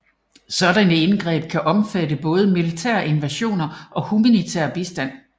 Sådanne indgreb kan omfatte både militære invasioner og humanitær bistand